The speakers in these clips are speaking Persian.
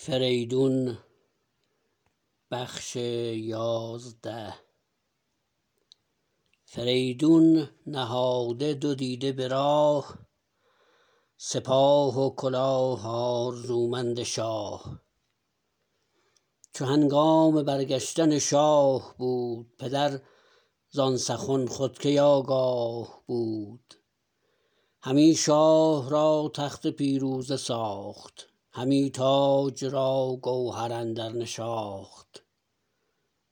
فریدون نهاده دو دیده به راه سپاه و کلاه آرزومند شاه چو هنگام برگشتن شاه بود پدر زان سخن خود کی آگاه بود همی شاه را تخت پیروزه ساخت همی تاج را گوهر اندر نشاخت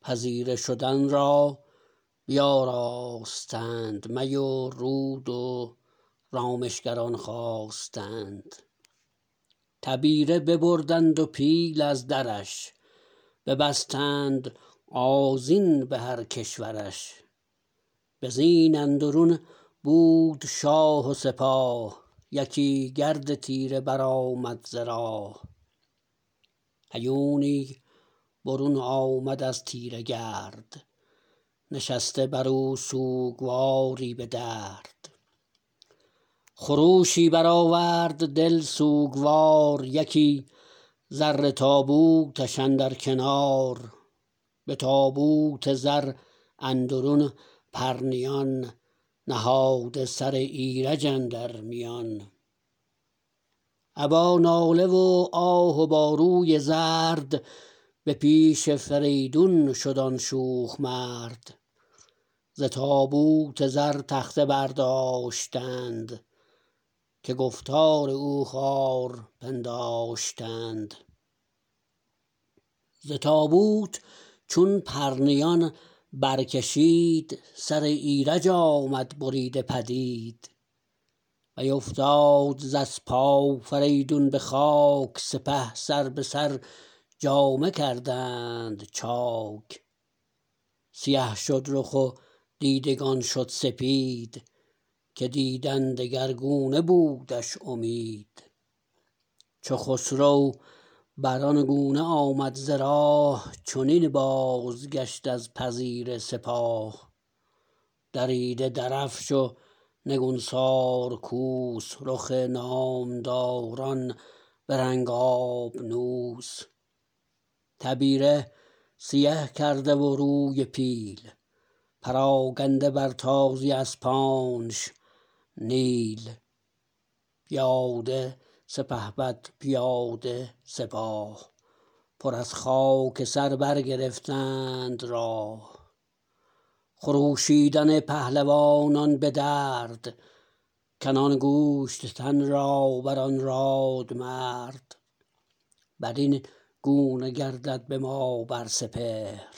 پذیره شدن را بیاراستند می و رود و رامشگران خواستند تبیره ببردند و پیل از درش ببستند آذین به هر کشورش به زین اندرون بود شاه و سپاه یکی گرد تیره برآمد ز راه هیونی برون آمد از تیره گرد نشسته برو سوگواری به درد خروشی برآورد دل سوگوار یکی زر تابوتش اندر کنار به تابوت زر اندرون پرنیان نهاده سر ایرج اندر میان ابا ناله و آه و با روی زرد به پیش فریدون شد آن شوخ مرد ز تابوت زر تخته برداشتند که گفتار او خوار پنداشتند ز تابوت چون پرنیان برکشید سر ایرج آمد بریده پدید بیافتاد ز اسپ آفریدون به خاک سپه سر به سر جامه کردند چاک سیه شد رخ و دیدگان شد سپید که دیدن دگرگونه بودش امید چو خسرو بران گونه آمد ز راه چنین بازگشت از پذیره سپاه دریده درفش و نگونسار کوس رخ نامداران به رنگ آبنوس تبیره سیه کرده و روی پیل پراکنده بر تازی اسپانش نیل پیاده سپهبد پیاده سپاه پر از خاک سر برگرفتند راه خروشیدن پهلوانان به درد کنان گوشت تن را بران رادمرد برین گونه گردد به ما بر سپهر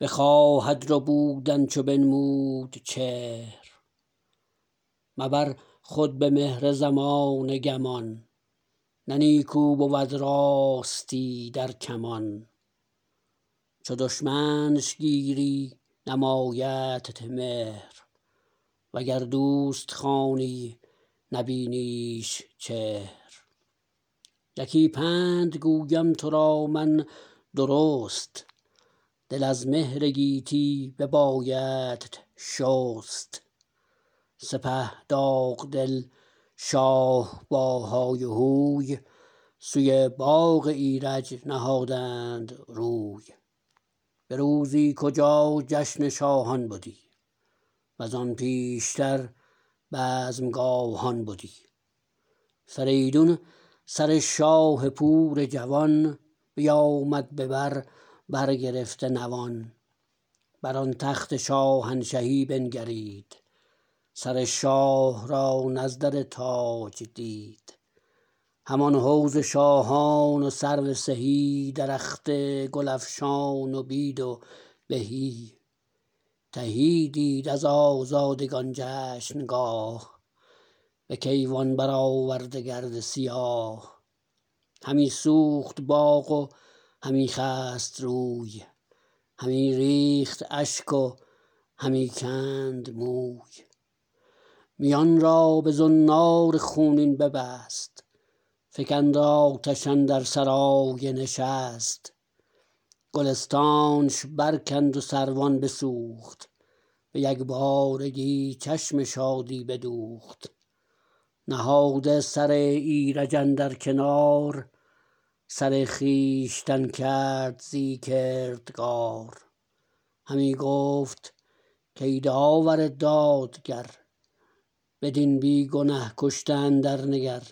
بخواهد ربودن چو بنمود چهر مبر خود به مهر زمانه گمان نه نیکو بود راستی در کمان چو دشمنش گیری نمایدت مهر و گر دوست خوانی نبینیش چهر یکی پند گویم ترا من درست دل از مهر گیتی ببایدت شست سپه داغ دل شاه با های و هوی سوی باغ ایرج نهادند روی به روزی کجا جشن شاهان بدی وزان پیشتر بزمگاهان بدی فریدون سر شاه پور جوان بیامد ببر برگرفته نوان بر آن تخت شاهنشهی بنگرید سر شاه را نزدر تاج دید همان حوض شاهان و سرو سهی درخت گلفشان و بید و بهی تهی دید از آزادگان جشنگاه به کیوان برآورده گرد سیاه همی سوخت باغ و همی خست روی همی ریخت اشک و همی کند موی میان را به زنار خونین ببست فکند آتش اندر سرای نشست گلستانش برکند و سروان بسوخت به یکبارگی چشم شادی بدوخت نهاده سر ایرج اندر کنار سر خویشتن کرد زی کردگار همی گفت کای داور دادگر بدین بی گنه کشته اندر نگر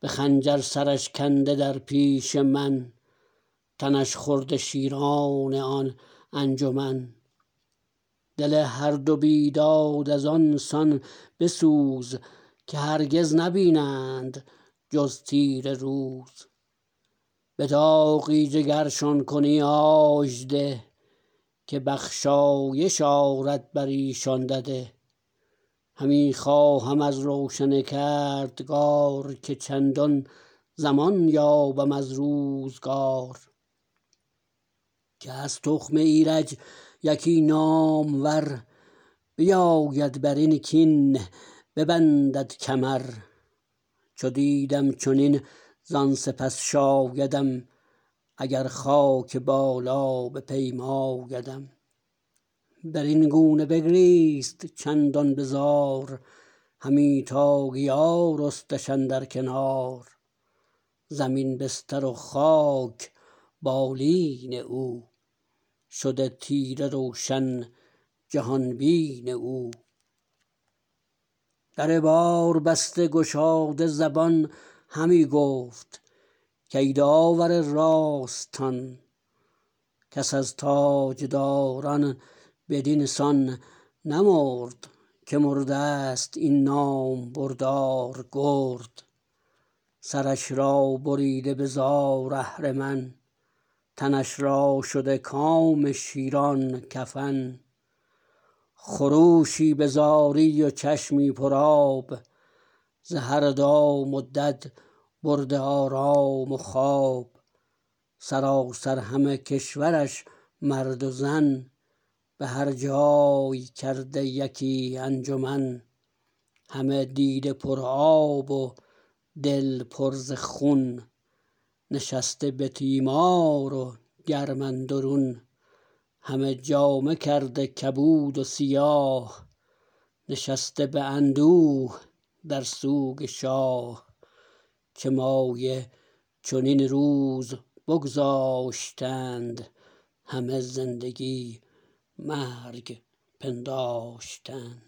به خنجر سرش کنده در پیش من تنش خورده شیران آن انجمن دل هر دو بیداد از آن سان بسوز که هرگز نبینند جز تیره روز به داغی جگرشان کنی آژده که بخشایش آرد بریشان دده همی خواهم از روشن کردگار که چندان زمان یابم از روزگار که از تخم ایرج یکی نامور بیاید برین کین ببندد کمر چو دیدم چنین زان سپس شایدم اگر خاک بالا بپیمایدم برین گونه بگریست چندان بزار همی تا گیا رستش اندر کنار زمین بستر و خاک بالین او شده تیره روشن جهان بین او در بار بسته گشاده زبان همی گفت کای داور راستان کس از تاجداران بدین سان نمرد که مردست این نامبردار گرد سرش را بریده به زار اهرمن تنش را شده کام شیران کفن خروشی به زاری و چشمی پرآب ز هر دام و دد برده آرام و خواب سراسر همه کشورش مرد و زن به هر جای کرده یکی انجمن همه دیده پرآب و دل پر ز خون نشسته به تیمار و گرم اندرون همه جامه کرده کبود و سیاه نشسته به اندوه در سوگ شاه چه مایه چنین روز بگذاشتند همه زندگی مرگ پنداشتند